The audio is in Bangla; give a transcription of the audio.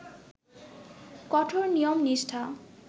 কঠোর নিয়ম-নিষ্ঠা